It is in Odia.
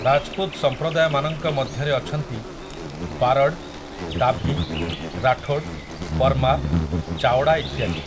ରାଜ୍‌ପୁତ୍‌ ସଂପ୍ରଦାୟମାନଙ୍କ ମଧ୍ୟରେ ଅଛନ୍ତି ବାରଡ୍, ଦାଭି, ରାଠୋଡ଼୍, ପର୍ମାର୍, ଚାୱଡ଼ା ଇତ୍ୟାଦି ।